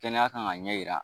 Kɛnɛya kan ka ɲɛ jira